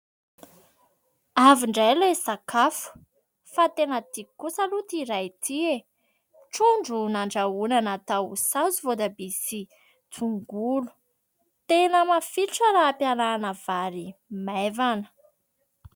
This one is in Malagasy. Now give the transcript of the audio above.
Avy indray ilay sakafo! Fa tena tiako kosa aloha ity iray ity e! Trondro nandrahoana natao saosy voatabia sy tongolo, tena mafilotra raha ampiarahana amin'ny vary maivana.